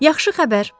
Yaxşı xəbər!